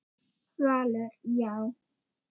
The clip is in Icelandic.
Valur: Já.